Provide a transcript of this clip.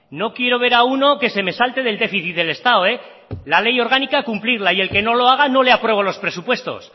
no quiero ver a uno que se me salte del déficit del estado la ley orgánica a cumplirla y el que no lo haga no le apruebo los presupuestos